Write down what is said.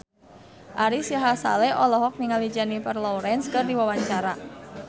Ari Sihasale olohok ningali Jennifer Lawrence keur diwawancara